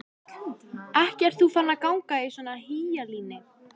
Ekki ert þú farin að ganga í svona hýjalíni?